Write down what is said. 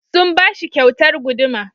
Sun ba shi kyautar guduma.